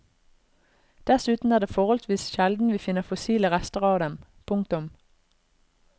Dessuten er det forholdsvis sjelden vi finner fossile rester av dem. punktum